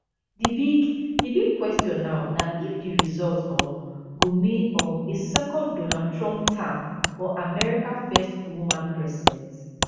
di big di big question now na if di result um go mean um a second donald trump term or america first woman president